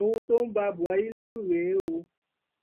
ohun tó ń ba buhari lẹrù rèé o